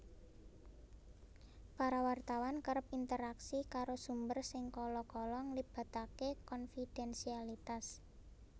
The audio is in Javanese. Para wartawan kerep interaksi karo sumber sing kala kala nglibatake konfidensialitas